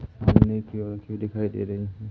सामने की ओर क्यू दिखाई दे रही है।